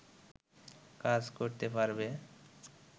কাজ করতে পারবে